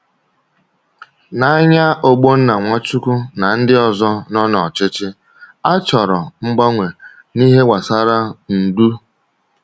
N’anya Ogbonna Nwachukwu na ndị ọzọ nọ n’ọchịchị, a chọrọ mgbanwe n’ihe gbasara ndu.